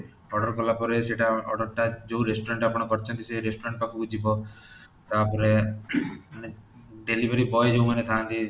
oder କଲା ପରେ ସେଟା oder ଟା ଯୋଉ restaurant ଆପଣ କରିଛନ୍ତି ସେଇ restaurant ପାଖକୁ ଯିବ ତାପରେ ମାନେ delivery boy ଯୋଉମାନେ ଥାଆନ୍ତି